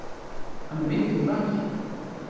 Hann er meiddur í baki